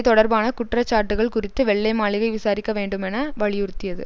தொடர்பான குற்றச்சாட்டுகள் குறித்து வெள்ளை மாளிகை விசாரிக்க வேண்டுமென வலியுறுத்தியது